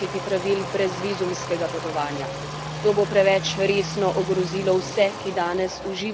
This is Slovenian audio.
To bo preveč resno ogrozilo vse, ki danes uživajo ugodnosti brezvizumskega režima.